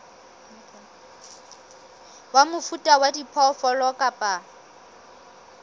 wa mofuta wa diphoofolo kapa